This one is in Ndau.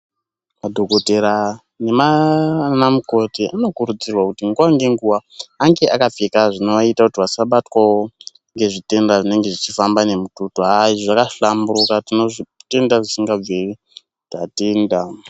Madhokoteya nanamukoti anokurudzirwawo kuti nguwa nenguwa ange akapfekawo zvinoaitawo kuti asabatwawo ngezvitenda zvinofambawo nemututu izvi zvakahlamburuka tinozvitenda zvisingabviri tatenda